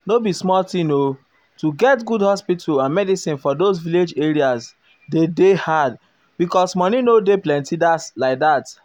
no be small thong o to get good hospital and medicin for those village areas dey dey hard because money nor dey plenty like that.